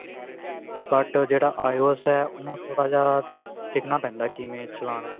but ਜਿਹੜਾ IOS ਉਹਨੂੰ ਥੋੜਾ ਸਿੱਖਣਾ ਪੈਂਦਾ ਕਿਵੇਂ ਚਲਾਉਣਾ